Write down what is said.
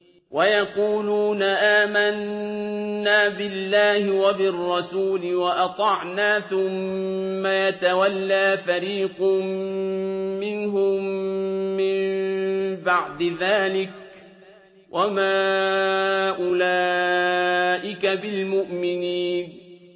وَيَقُولُونَ آمَنَّا بِاللَّهِ وَبِالرَّسُولِ وَأَطَعْنَا ثُمَّ يَتَوَلَّىٰ فَرِيقٌ مِّنْهُم مِّن بَعْدِ ذَٰلِكَ ۚ وَمَا أُولَٰئِكَ بِالْمُؤْمِنِينَ